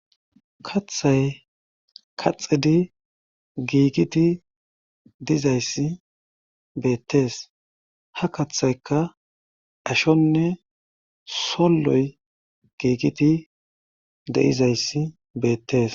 kathay kaxidi giigiti dizayssi beettes ha kathayka ashonne solloy giigiti deizayssi beettees